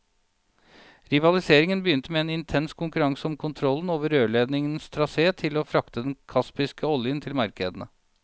Rivaliseringen begynte med en intens konkurranse om kontrollen over rørledningens trasé til å frakte den kaspiske oljen til markedene.